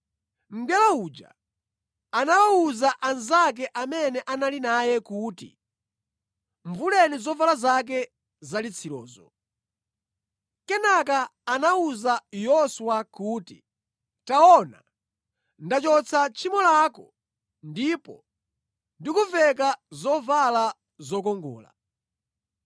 Mngelo uja anawuza anzake amene anali naye kuti, “Muvuleni zovala zake zalitsirizo.” Kenaka anawuza Yoswa kuti, “Taona, ndachotsa tchimo lako, ndipo ndikuveka zovala zokongola.”